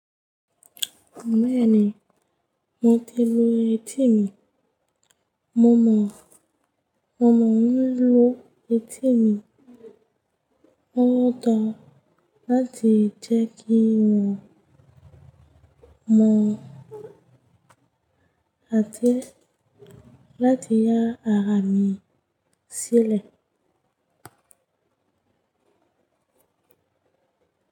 Bẹ́ẹ̀ni, mo ti lu etí mi, mọ mo ń lu etí mi, ó dáa láti jẹ́ kí wọn, mo áti láti yá ara mi sílẹ̀